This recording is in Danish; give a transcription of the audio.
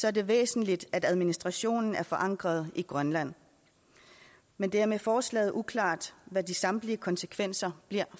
er det væsentligt at administrationen er forankret i grønland men det er med forslaget uklart hvad de samlede konsekvenser bliver